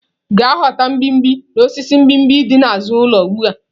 Gaa ghọta mgbimhbi n'osisi mgbimgbi dị n'azụ ụlọ ugbu a!